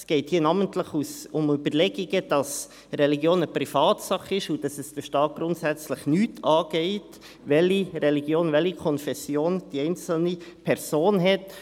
Es geht hier namentlich um Überlegungen, wonach die Religion eine Privatsache ist und es den Staat grundsätzlich nichts angeht, welche Religion, welche Konfession die einzelne Person hat.